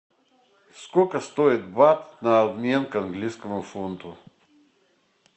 сколько стоит бат на обмен к английскому фунту